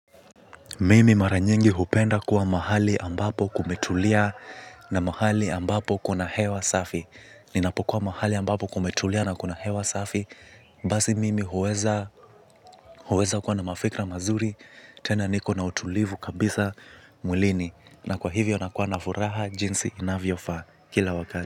Mimi mara nyingi hupenda kuwa mahali ambapo kumetulia na mahali ambapo kuna hewa safi. Ninapokuwa mahali ambapo kumetulia na kuna hewa safi basi mimi huweza kuwa na mafikra mazuri tena niko na utulivu kabisa mwilini. Na kwa hivyo nakua na furaha jinsi inavyofa kila wakati.